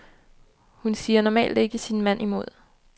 Hun siger normalt ikke sin mand imod.